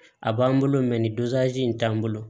A b'an bolo mɛ nin in t'an bolo